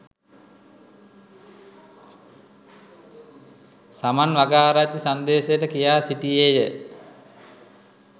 සමන් වගආරච්චි සංදේශයට කියා සිටියේය